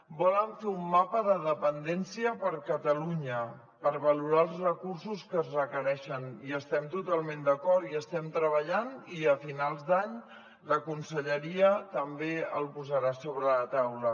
volen fer un mapa de dependència per a catalunya per valorar els recursos que es requereixen hi estem totalment d’acord hi estem treballant i a finals d’any la conselleria també el posarà sobre la taula